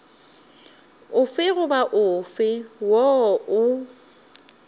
ofe goba ofe woo o